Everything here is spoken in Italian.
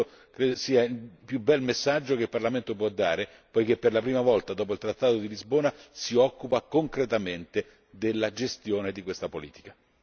Questo credo sia il più bel messaggio che il Parlamento può dare, poiché per la prima volta dopo il trattato di Lisbona si occupa concretamente della gestione di questa politica.